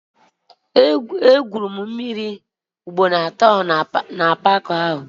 E gwuru m mmịrị ugboro atọ na paaki ahụ.